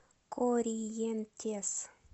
корриентес